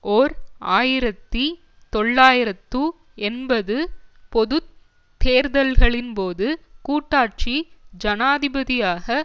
ஓர் ஆயிரத்தி தொள்ளாயிரத்து எண்பது பொது தேர்தல்களின்போது கூட்டாட்சி ஜனாதிபதியாக